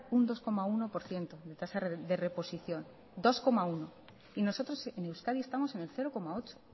un dos coma uno por ciento de tasa de reposición dos coma uno y nosotros en euskadi estamos en el cero coma ocho